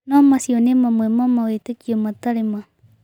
No macio nĩ mamwe ma mawĩtĩkio matarĩ ma